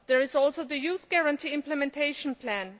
There is also the Youth Guarantee Implementation Plan.